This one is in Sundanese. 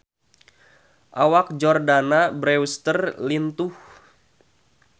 Awak Jordana Brewster lintuh